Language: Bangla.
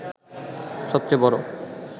সবচেয়ে বড়